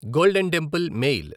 golden temple mail